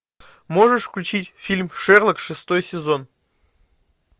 можешь включить фильм шерлок шестой сезон